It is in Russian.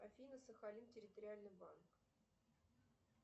афина сахалин территориальный банк